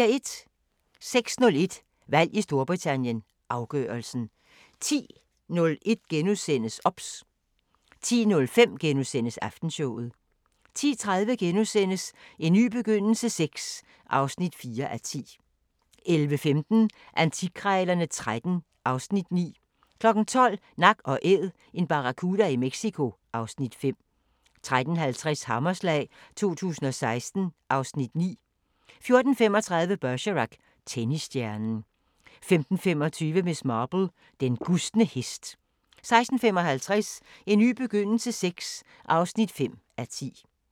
06:01: Valg i Storbritannien: Afgørelsen 10:01: OBS * 10:05: Aftenshowet * 10:30: En ny begyndelse VI (4:10)* 11:15: Antikkrejlerne XIII (Afs. 9) 12:00: Nak & Æd – en barracuda i Mexico (Afs. 5) 13:50: Hammerslag 2016 (Afs. 9) 14:35: Bergerac: Tennisstjernen 15:25: Miss Marple: Den gustne hest 16:55: En ny begyndelse VI (5:10)